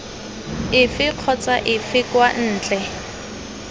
efe kgotsa efe kwa ntle